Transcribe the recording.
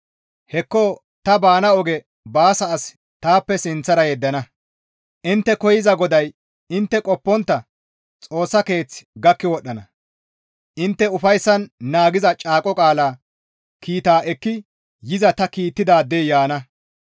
«Hekko tani baana oge baasana as taappe sinththara yeddana; intte koyza GODAY intte qoppontta Xoossa keeth gakki wodhdhana; intte ufayssan naagiza caaqo qaala kiitaa ekki yiza ta kiittidaadey yaana.